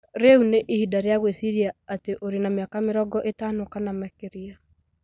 Rĩu nĩ ihinda rĩa gwĩciria atĩ ũrĩ na mĩaka mĩrongo ĩtano kana makĩria